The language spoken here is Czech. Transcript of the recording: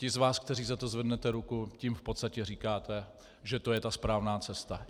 Ti z vás, kteří za to zvednete ruku, tím v podstatě říkáte, že to je ta správná cesta.